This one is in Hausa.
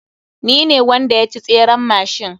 Ni ne wanda yaci tseren machine.